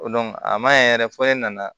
a ma ɲɛ yɛrɛ fɔ ne nana